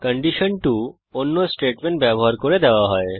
condition 2 অন্য statement ব্যবহার করে দেওয়া হয়